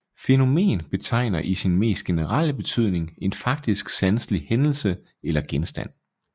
Fænomen betegner i sin mest generelle betydning en faktisk sanselig hændelse eller genstand